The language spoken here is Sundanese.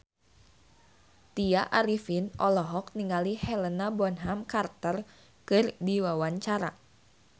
Tya Arifin olohok ningali Helena Bonham Carter keur diwawancara